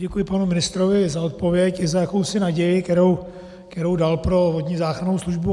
Děkuji panu ministrovi za odpověď i za jakousi naději, kterou dal pro vodní záchrannou službu.